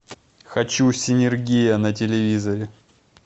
хочу синергия на телевизоре